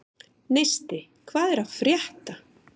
Neisti, hvað er að frétta?